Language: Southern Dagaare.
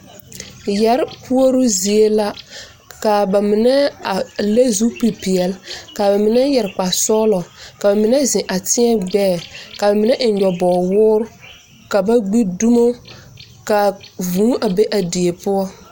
Yɛre puoruu zie la ka a ba mine a leŋ zu peɛle ka ba mine meŋ yɛre kparesɔglɔa ba mine ziŋ a teɛ gbɛɛ ka mine eŋe nyɔbog woore ka ba gbi dumo ka vuu a be a die poɔ.